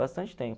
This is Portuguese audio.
Bastante tempo.